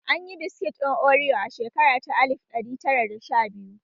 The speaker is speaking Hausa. An yi biskit ɗin oriyo a shekara ta alif ɗari tara da sha biyu